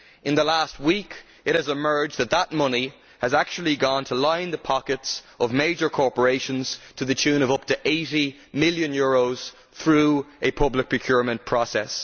In the last week it has emerged that the money has actually gone to line the pockets of major corporations, to the tune of up to EUR 80 million, through a public procurement process.